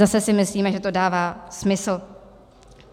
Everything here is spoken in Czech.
Zase si myslíme, že to dává smysl.